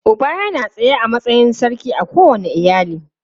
Uba yana tsaye a matsayin sarki a kowane iyali.